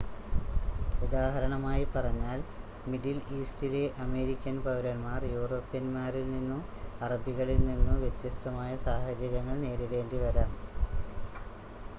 ഉദാഹരണമായി പറഞ്ഞാൽ മിഡിൽ ഈസ്റ്റിലെ അമേരിക്കൻ പൗരന്മാർ യൂറോപ്യന്മാരിൽ നിന്നോ അറബികളിൽ നിന്നോ വ്യത്യസ്തമായ സാഹചര്യങ്ങൾ നേരിടേണ്ടിവരാം